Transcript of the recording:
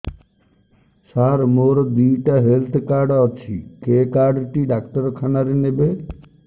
ସାର ମୋର ଦିଇଟା health card ଅଛି କେ କାର୍ଡ ଟି ଡାକ୍ତରଖାନା ରେ ନେବେ